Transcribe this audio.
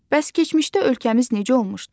Bəs keçmişdə ölkəmiz necə olmuşdu?